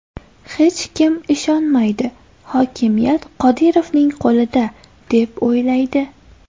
Hech kim ishonmaydi, hokimiyat Qodirovning qo‘lida, deb o‘ylaydi.